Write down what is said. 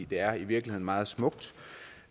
det er i virkeligheden meget smukt